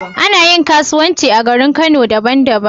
Anayin kasuwanci a garin kano daban daban